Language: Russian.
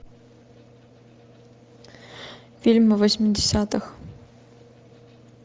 фильмы восьмидесятых